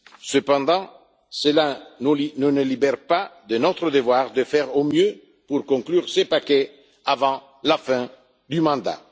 Cependant, cela ne nous libère pas de notre devoir de faire au mieux pour conclure ce paquet avant la fin du mandat.